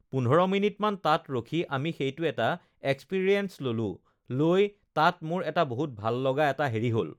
ugh পোন্ধৰ মিনিটমান তাত ৰখি আমি সেইটো এটা এক্সপিৰিয়েঞ্চ ল'লোঁ লৈ তাত মোৰ এটা বহুত ভাল লগা এটা হেৰি হ'ল